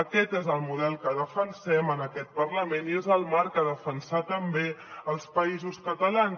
aquest és el model que defensem en aquest parlament i és el marc a defensar també als països catalans